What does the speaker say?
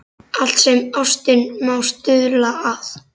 Allt sem ástin má stuðla að.